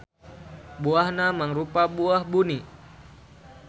Buahna mangrupa buah buni.